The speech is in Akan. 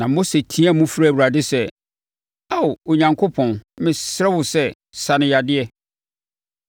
Na Mose teaam frɛɛ Awurade sɛ, “Ao, Onyankopɔn, mesrɛ wo sɛ sa no yadeɛ!”